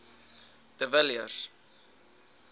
de villiers